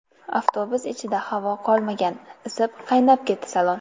Avtobus ichida havo qolmagan, isib, qaynab ketdi salon.